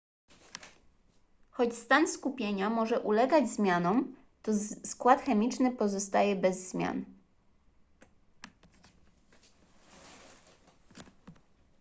choć stan skupienia może ulegać zmianom to skład chemiczny pozostaje bez zmian